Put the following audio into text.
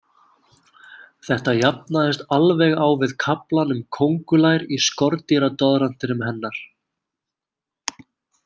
Þetta jafnaðist alveg á við kaflann um kóngulær í skordýradoðrantinum hennar.